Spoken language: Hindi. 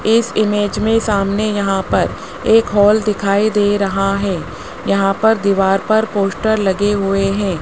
इस इमेज में सामने यहां पर एक हॉल दिखाई दे रहा है यहां पर दीवार पर पोस्टर लगे हुए हैं।